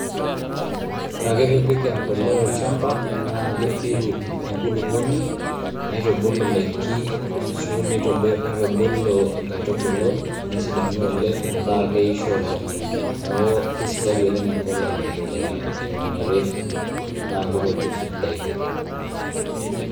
Ore ake piipik embolea olchamba naake epiru enkuluponi nitubulu ndaiki ashu nitobir nitubulu nkaitubulu nesidanu oleng' metaa keisho oleng'. Neeku kesidai oleng' empolea te eunore naake itopir indaiki.